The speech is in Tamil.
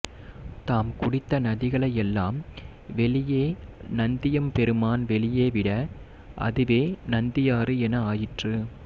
தாம் குடித்த நதிகளை எல்லாம் வெளியே நந்தியெம்பெருமான் வெளியே விட அதுவே நந்தி ஆறு என ஆயிற்று